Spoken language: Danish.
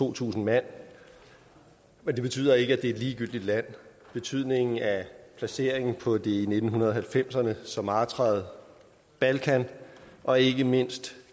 to tusind mand men det betyder ikke at det er et ligegyldigt land betydningen af placeringen på det i nitten halvfemserne så martrede balkan og ikke mindst